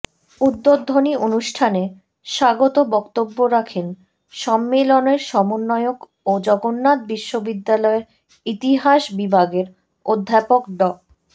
উদ্বোধনী অনুষ্ঠানে স্বাগত বক্তব্য রাখেন সম্মেলনের সমন্বয়ক ও জগন্নাথ বিশ্ববিদ্যালয়ের ইতিহাস বিভাগের অধ্যাপক ড